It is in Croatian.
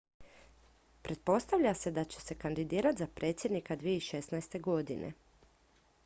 pretpostavlja se da će se kandidirati za predsjednika 2016. godine